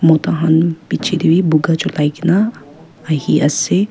mota khan bechey tey beh puka julia kena ahe ase.